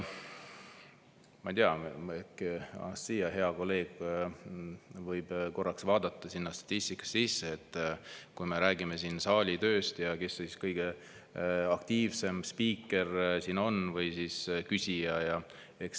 Ma ei tea, äkki Anastassia, hea kolleeg, võib korraks vaadata sinna statistikasse, et kui me räägime siin saali tööst, siis kes kõige aktiivsem siin on või siis küsija.